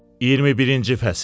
21-ci fəsil.